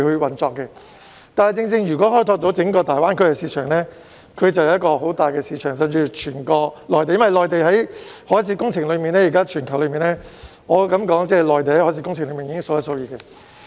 然而，如果開拓整個大灣區市場，甚至整個內地，就是一個很大的市場，因為在全球的海事工程裏，我可以說內地已經是數一數二的。